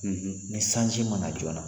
Unhun ni sanji ma na joona